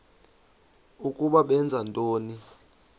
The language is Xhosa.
ukuba benza ntoni